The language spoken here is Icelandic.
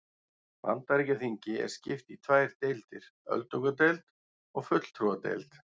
Bandaríkjaþingi er skipt í tvær deildir, öldungadeild og fulltrúadeild.